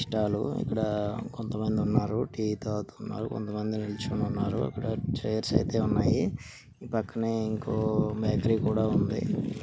Tea stall లో ఇక్కడ కొంతమంది ఉన్నారు. టీ తాగుతున్నారు. కొంతమంది నిల్చొని ఉన్నారు. ఇక్కడ చైర్స్ అయితే ఉన్నాయి. పక్కన ఇంకో బేకరీ కూడా ఉంది.